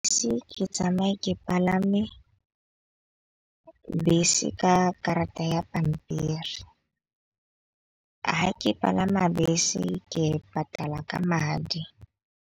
Se ke tsamaye ke palame bese ka karata ya pampiri, ha ke palama bese ke patala ka madi.